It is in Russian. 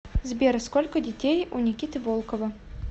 сбер сколько детей у никиты волкова